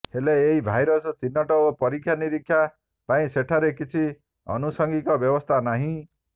ହେଲେ ଏହି ଭାଇରସ୍ ଚିହ୍ନଟ ଓ ପରୀକ୍ଷା ନୀରିକ୍ଷା ପାଇଁ ସେଠାରେ କିଛି ଆନୁସଙ୍ଗିକ ବ୍ୟବସ୍ଥା ନାହିଁ